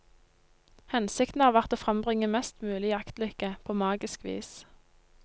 Hensikten har vært å frembringe mest mulig jaktlykke, på magisk vis.